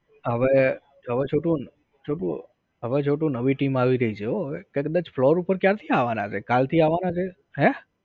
હવે જોવ છોટું, હવે છોટું, છોટું નવી team આવી રહી છે હો હવે, એ કદાચ floor ઉપર ક્યારથી આવાના છે? કાલથી આવાના છે? હે?